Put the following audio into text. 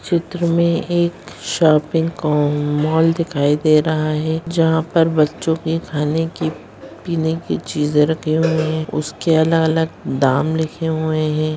चित्र में एक शॉपिंग का मॉल दिखाई दे रहा है जहाँ पर बच्चो की खाने की पीने की चीजे रखी हुई है उसके-उसके अलग-अलग दाम लिखे हुए है।